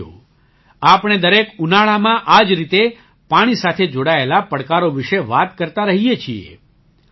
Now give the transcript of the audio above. સાથીઓ આપણે દરેક ઉનાળામાં આ જ રીતે પાણી સાથે જોડાયેલા પડકારો વિશે વાત કરતા રહીએ છીએ